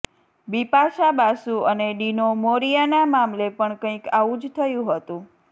બિપાશા બાસુ અને ડિનો મોરિયાના મામલે પણ કંઇક આવું જ થયું હતું